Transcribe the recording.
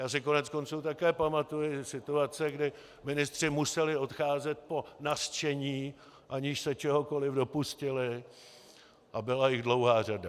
Já si koneckonců také pamatuji situace, kdy ministři museli odcházet po nařčení, aniž se čehokoli dopustili, a byla jich dlouhá řada.